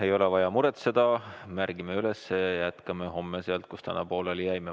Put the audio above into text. Ei ole vaja muretseda, märgime üles, jätkame homme sealt, kus täna pooleli jäime.